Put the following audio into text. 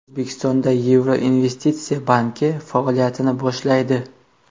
O‘zbekistonda Yevropa investitsiya banki faoliyatini boshlaydi.